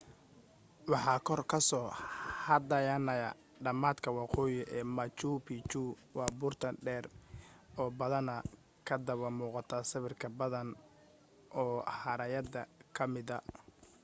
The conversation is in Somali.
waxa kor ka soo hadhaynaya dhamaadka waqooyi ee machu picchu waa buurtan dheer oo badanaa kadaba muuqata sawir badan oo haraayada ka mida